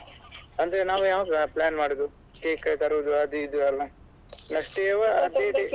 ಅಂದ್ರೆ ನಾವು ಯಾವಾಗ plan ಮಾಡುದು cake ತರುದು ಅದು ಇದು ಎಲ್ಲ next day ವಾ ಅದೇ day .